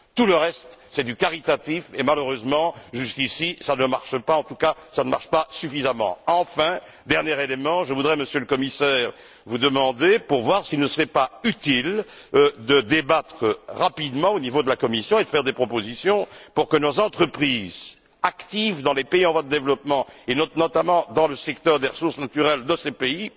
Tout le reste, c'est du caritatif et, malheureusement, jusqu'ici, cela ne fonctionne pas, en tout cas pas suffisamment. Enfin, dernier élément, je voudrais, Monsieur le Commissaire, vous demander de voir s'il ne serait pas utile de débattre rapidement au niveau de la Commission et de faire des propositions pour que nos entreprises actives dans les pays en voie de développement, et notamment dans le secteur des ressources naturelles de ces